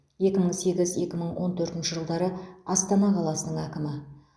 екі мың сегіз екі мың он төртінші жылдары астана қаласының әкімі